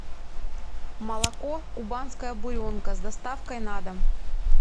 молоко кубанская буренка с доставкой на дом